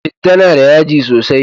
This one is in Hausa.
Citta na da yaji sosai